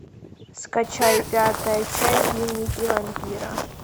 скачай пятая часть дневники вампира